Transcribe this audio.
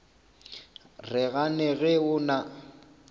re gane ge o na